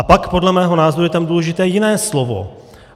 A pak podle mého názoru je tam důležité jiné slovo.